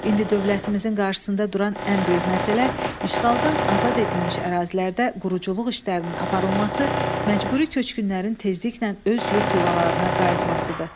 İndi dövlətimizin qarşısında duran ən böyük məsələ işğaldan azad edilmiş ərazilərdə quruculuq işlərinin aparılması, məcburi köçkünlərin tezliklə öz yurd yuvalarına qayıtmasıdır.